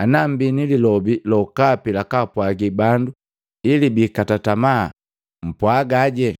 ana mmbi nililobi lokapi lakaapwagi bandu ili biikata tamaa, mpwagaje.”